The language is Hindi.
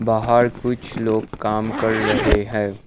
बाहर कुछ लोग काम कर रहे हैं।